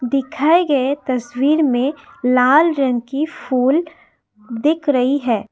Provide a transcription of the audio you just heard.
दिखाई गए तस्वीर में लाल रंग की फुल दिख रही है।